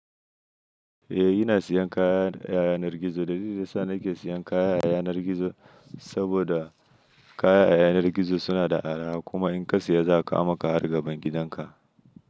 Eh, ina siyan kaya ta yanar gizo. Dalilin da yasa nake siyan kaya ta yanar gizo saboda kaya a yanar gizo suna da arha kuma in ka siya za kawo maka har gaban gidan ka.